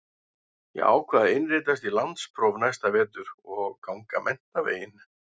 Ég ákvað að innritast í landspróf næsta vetur og ganga menntaveginn.